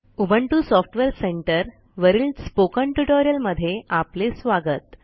Ubuntu software centre वरील spoken ट्युटोरियलमध्ये आपले स्वागत